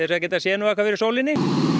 að geta sé nú eitthvað fyrir sólinni